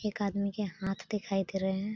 एक आदमी के हांथ दिखाई दे रहे हैं।